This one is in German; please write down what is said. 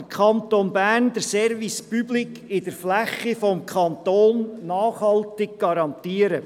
Wie will der Kanton Bern den Service Public in der Fläche des Kantons nachhaltig garantieren?